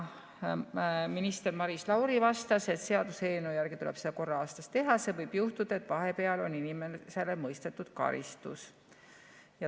Minister Maris Lauri vastas, et seaduseelnõu järgi tuleb seda korra aastas teha, sest võib juhtuda, et vahepeal on mõistetud karistus.